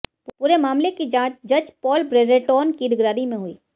पूरे मामले की जांच जज पॉल ब्रेरेटॉन की निगरानी में हुई